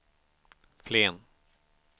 Flen